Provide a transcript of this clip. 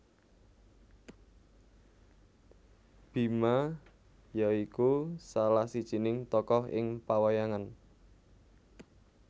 Bima ya iku salah sijining tokoh ing pawayangan